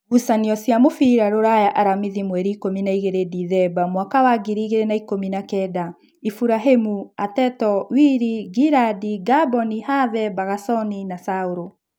Ngucanio cia mũbira Ruraya Aramithi mweri ikũmi na igĩrĩ Ndithemba mwaka wa ngiri igĩrĩ na ikũmi na kenda: Iburahĩmi, Ateto, Wili, Ngirandi, Ngamboni, Have, Bagasoni, Saũrũ